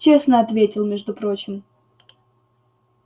честно ответил между прочим